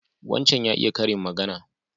Wancan ya iya karin magana.